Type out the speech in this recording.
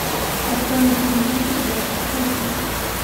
открой на телевизоре передачу фэшн